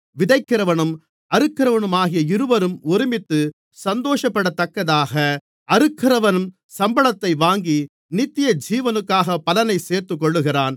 விதைக்கிறவனும் அறுக்கிறவனுமாகிய இருவரும் ஒருமித்துச் சந்தோஷப்படத்தக்கதாக அறுக்கிறவன் சம்பளத்தை வாங்கி நித்தியஜீவனுக்காகப் பலனைச் சேர்த்துக்கொள்ளுகிறான்